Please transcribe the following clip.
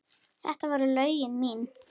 Þetta voru lögin mín.